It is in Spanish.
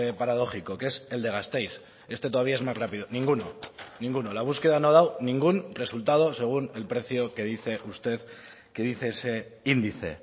paradójico que es el de gasteiz este todavía es más rápido ninguno ninguno la búsqueda no ha dado ningún resultado según el precio que dice usted que dice ese índice